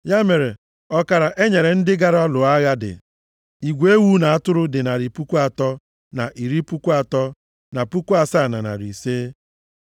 Ya mere, ọkara e nyere ndị gara lụọ agha dị: Igwe ewu na atụrụ dị narị puku atọ na iri puku atọ na puku asaa na narị ise (337,500).